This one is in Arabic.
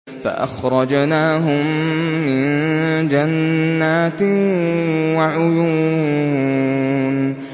فَأَخْرَجْنَاهُم مِّن جَنَّاتٍ وَعُيُونٍ